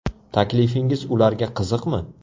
Taklifingiz ularga qiziqmi?